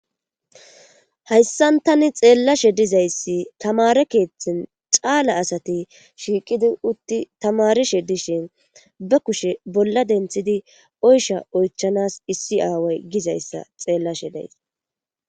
hayssan tani xeellashe dizayssi tamare keeththin caala asati shiiqidi utti tamarishe dishin ba kushe bolla denthidi oysha oychanas issi aaway gizayssa xeellashe days